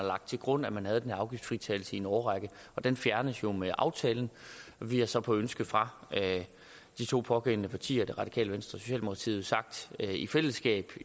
lagt til grund at man havde den her afgiftsfritagelse i en årrække og den fjernes jo med aftalen vi har så på et ønske fra de to pågældende partier det radikale venstre og socialdemokratiet i fællesskab